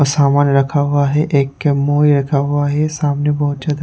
अ सामान रखा हुआ हैं एक के रखा हुआ हैं सामने बहुत ज्यादा --